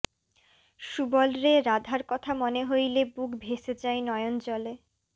সুবলরে রাধার কথা মনে হইলে বুক ভেসে যায় নয়ন জলে